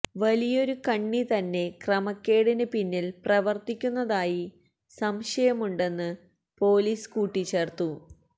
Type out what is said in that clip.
വലിയൊരു കണ്ണി തന്നെ ക്രമക്കേടിന് പിന്നിൽ പ്രവർത്തിക്കുന്നതായി സംശയമുണ്ടെന്ന് പൊലീസ് കൂട്ടിച്ചേർത്തു